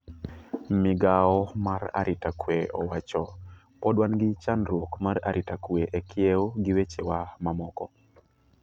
Migao mar arita kwe owacho ''podi wan gi chandruok mar arita kwe e kiew gi wechewa ma moko''.